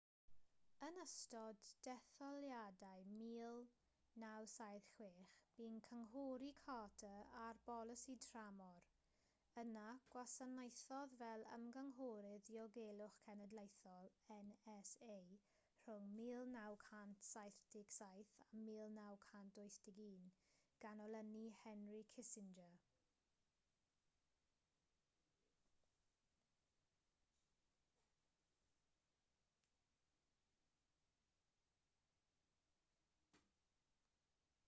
yn ystod detholiadau 1976 bu'n cynghori carter ar bolisi tramor yna gwasanaethodd fel ymgynghorydd diogelwch cenedlaethol nsa rhwng 1977 a 1981 gan olynu henry kissinger